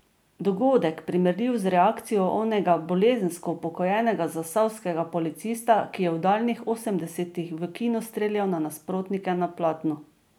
Dogodek, primerljiv z reakcijo onega bolezensko upokojenega zasavskega policista, ki je v daljnih osemdesetih v kinu streljal na nasprotnike na platnu.